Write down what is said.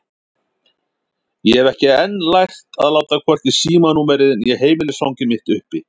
Ég hafði enn ekki lært að láta hvorki símanúmerið né heimilisfangið mitt uppi.